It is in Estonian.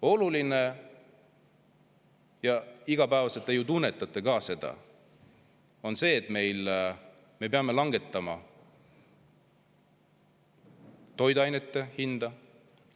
Oluline on see – ja igapäevaselt te ju tunnetate seda –, et me peame langetama toiduainete hinda.